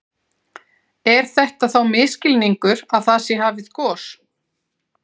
Er þetta þá misskilningur að það sé hafið gos?